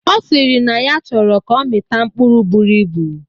Ọ sịrị na ya chọrọ ka ọ mita mkpụrụ buru ibu